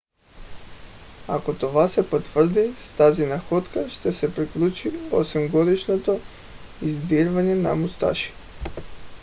ако това се потвърди с тази находка ще се приключи осемгодишното издирване на мусаши